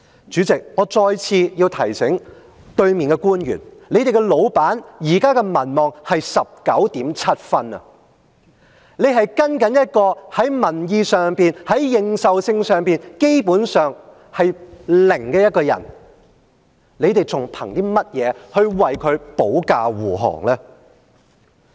主席，我再次提在席的官員，你們的老闆現在的民望是 19.7 分，你是跟隨一個在民意上、認受性上，基本上，是零的一個人，你們憑甚麼為她保駕護航呢？